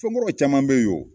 Fɛnkɔrɔw caman be yen